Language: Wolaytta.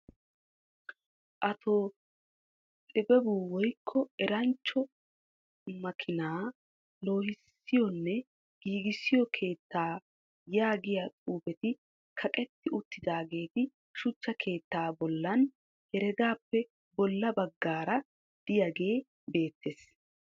Ato tibebu woykko eranchcho makiinaa loohissiyonne giigissiyo keettaa yaagiya xifatee kaqqetti utidaageeti shuchcha keettaa bolan heregaappe bola bagaara diyaage beetees.